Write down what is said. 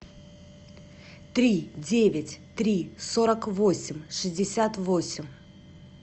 три девять три сорок восемь шестьдесят восемь